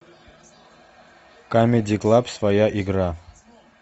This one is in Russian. камеди клаб своя игра